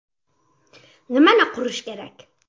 Nimani qurish kerak?